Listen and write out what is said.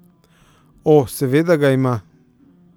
O, seveda ga ima.